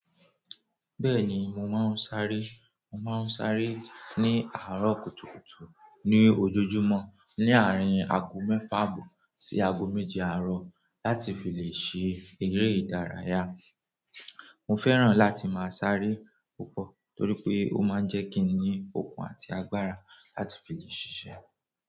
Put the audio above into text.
Bẹ́ẹ̀ni, mo máa ń sáré. Mo máa ń ṣaré ní àárọ̀ kùtùkùtù ní ojoojúmọ́ ní àárín aago mẹ́fà àbọ̀ sí aago méje àárọ̀ láti fi lè ṣe eré ìdárayá. Mo fẹ́ràn láti máa sáré púpọ̀ torí pé ó máa ń jẹ́ kí n ní okun àti agbára láti fi lè ṣiṣẹ́.